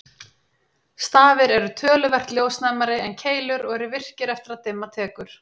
Stafir eru töluvert ljósnæmari en keilur og eru virkir eftir að dimma tekur.